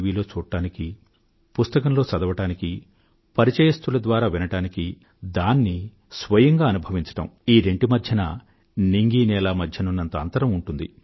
విలో చూడ్డానికీ పుస్తకంలో చదవడానికీ పరిచయస్తుల ద్వారా వినడానికీ దాన్ని స్వయంగా అనుభవించడానికీ ఈ రెంటి మధ్యన నింగికి నేలకు మధ్య ఉన్నంత అంతరం ఉంటుంది